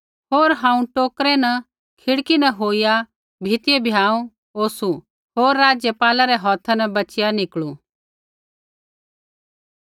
होर हांऊँ टोकरै न खिड़की न होईया भीतिऐ भ्याँऊ उतारू होर राज़पाला रै हौथा न बचीया निकलु